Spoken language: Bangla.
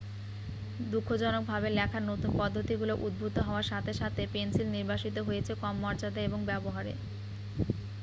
দুঃখজনকভাবে লেখার নতুন পদ্ধতিগুলো উদ্ভূত হওয়ার সাথে সাথে পেন্সিল নির্বাসিত হয়েছে কম মর্যাদা এবং ব্যবহারে